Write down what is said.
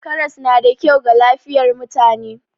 Karas na da kyau ga lafiyar mutane.